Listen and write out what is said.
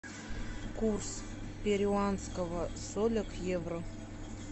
курс перуанского соля к евро